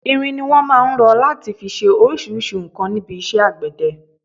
Irin ni wọn máà ń rọ láti fi ṣe oríṣríṣi nǹkan níbi iṣẹ́ àgbẹ̀dẹ.